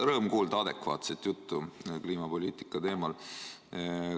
Rõõm on kuulda adekvaatset juttu kliimapoliitika teemal.